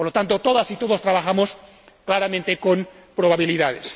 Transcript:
Por lo tanto, todas y todos trabajamos claramente con probabilidades.